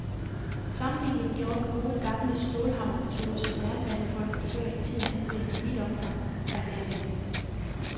Sammenligningen med den gode, gamle stålhammermetode, som jernbanefolket før i tiden anvendte i vidt omfang, er nærliggende.